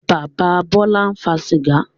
Bàbá Bọ́lá ń fa sìgá.